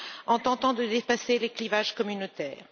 en tentant de dépasser les clivages communautaires.